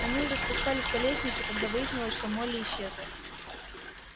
они уже спускались по лестнице когда выяснилось что молли исчезла